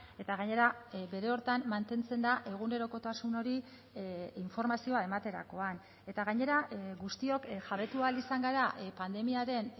eta gainera bere horretan mantentzen da egunerokotasun hori informazioa ematerakoan eta gainera guztiok jabetu ahal izan gara pandemiaren